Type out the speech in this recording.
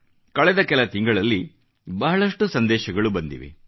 ಕಳೆದ ಕೆಲ ತಿಂಗಳಲ್ಲಿ ಬಹಳಷ್ಟು ಸಂದೇಶಗಳು ಬಂದಿವೆ